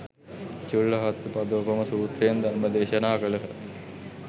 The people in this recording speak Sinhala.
චුල්ල හත්ථිපදෝපම සූත්‍රයෙන් ධර්ම දේශනා කළහ.